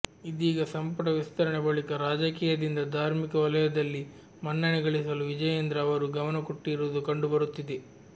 ಇದೀಗ ಸಂಪುಟ ವಿಸ್ತರಣೆ ಬಳಿಕ ರಾಜಕೀಯದಿಂದ ಧಾರ್ಮಿಕ ವಲಯದಲ್ಲಿ ಮನ್ನಣೆ ಗಳಿಸಲು ವಿಜಯೇಂದ್ರ ಅವರು ಗಮನ ಕೊಟ್ಟಿರುವುದು ಕಂಡು ಬರುತ್ತಿದೆ